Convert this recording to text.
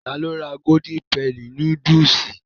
Ta ló ra golden penny núdúsì?